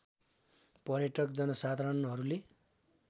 पर्यटक जनसाधारणहरूले